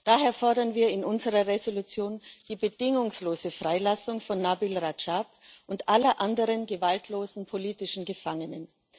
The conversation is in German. Daher fordern wir in unserer Entschließung die bedingungslose Freilassung von Nabil Radschab und aller anderen gewaltlosen politischen Gefangenen.